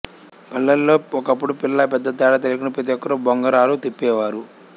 పల్లెలలో ఒకప్పుడు పిల్లా పెద్దా తేడా లేకుండా ప్రతిఒక్కరు బొంగరాలు తిప్పేవారు